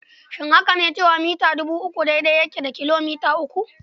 Shin haka ne cewa mita dubu uku daidai yake da kilo mita uku?